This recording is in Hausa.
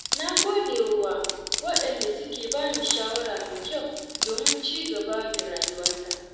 Na gode wa wadanda suke bani shawara mai kyau domin cigaba da rayuwata.